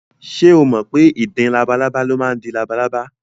Ṣé o mọ̀ pé ìdin labalábá ló máa ń di labalábá?